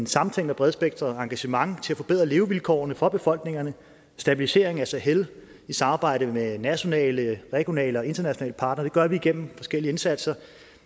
samtænkt og bredspektret engagement til at forbedre levevilkårene for befolkningerne stabilisering af sahel i samarbejde med nationale regionale og internationale parter det gør vi gennem forskellige indsatser